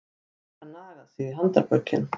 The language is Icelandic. Geta nagað sig í handarbökin